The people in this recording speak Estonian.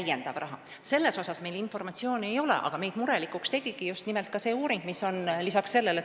Selle kasutamise kohta meil muidugi jooksvat informatsiooni ei ole, aga meid tegi murelikuks uuring üldhooldusteenuste kohta.